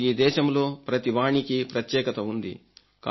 నాకు ఈ దేశంలో ప్రతి వాణికి ప్రత్యేకత ఉంది